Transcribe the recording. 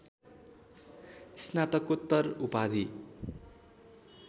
स्नातकोत्तर उपाधि